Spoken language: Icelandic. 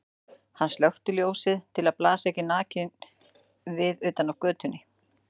Hann slökkti ljósið til að blasa ekki nakinn við utan af götunni.